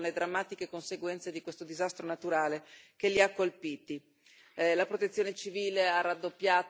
Chi vive in quelle zone ancora si trova a combattere con le drammatiche conseguenze di questo disastro naturale che li ha colpiti.